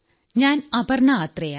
ഞാൻ അപർണ ആത്രേയ